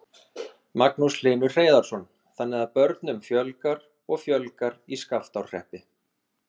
Magnús Hlynur Hreiðarsson: Þannig að börnum fjölgar og fjölgar í Skaftárhreppi?